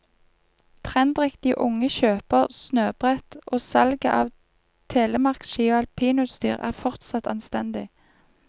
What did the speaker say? Trendriktige unge kjøper snøbrett, og salget av telemarkski og alpinutstyr er fortsatt anstendig.